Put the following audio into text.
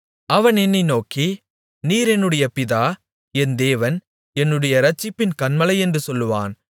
அவன் என்னை நோக்கி நீர் என்னுடைய பிதா என் தேவன் என்னுடைய இரட்சிப்பின் கன்மலையென்று சொல்லுவான்